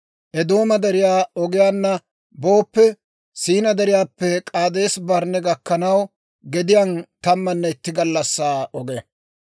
Eedooma Deriyaa ogiyaanna booppe, Siinaa Deriyaappe K'aadeesa-Barnne gakkanaw gediyaan tammanne itti gallassaa oge.